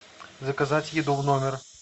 заказать еду в номер